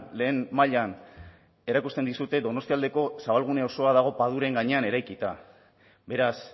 lehen mailan erakusten dizute donostialdeko zabalgune osoa dago paduren gainean eraikita beraz